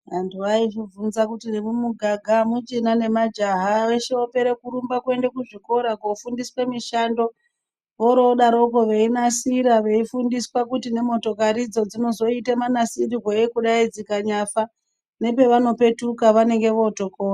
Antu aitibvunza kuti nemumuganga amuchina nemajaha veshe vopera kurumba kuenda kuzvikora kofundiswa mishando vorodaro veinasira veifundiswa kuti nemotokari idzo dzinozoita munasirirwei kudai dzikanyafa nepavanopetuka vanenge votokona.